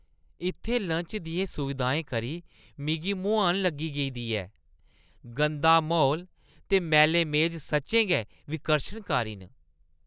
इत्थै लंच दियें सुविधाएं करी मिगी मुहान लग्गी गेदी ऐ- गंदा म्हौल ते मैले मेज सच्चैं गै विकर्शनकारी न।